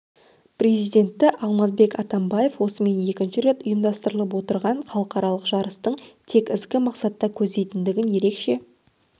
президенті алмазбек атамбаев осымен екінші рет ұйымдастырылып отырған халықаралық жарыстың тек ізгі мақсатты көздейтіндігін ерекше